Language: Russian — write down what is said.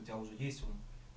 у тебя уже есть он